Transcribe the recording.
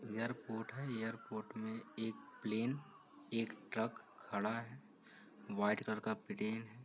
Airport है। Airport में एक प्लेन एक ट्रक खड़ा है। व्हाइट कलर का प्लेन --